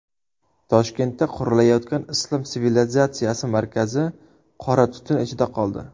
Toshkentda qurilayotgan Islom sivilizatsiyasi markazi qora tutun ichida qoldi.